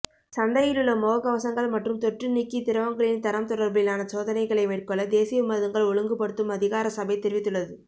சந்தையிலுள்ள முகக்கவசங்கள் மற்றும் தொற்று நீக்கி திரவங்களின் தரம் தொடர்பிலான சோதனைகளை மேற்கொள்ள தேசிய மருந்துகள் ஒழுங்குபடுத்தும் அதிகாரசபை தெரிவித்துள்ளது